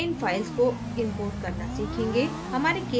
हम अब इन files को import करना सीखेंगे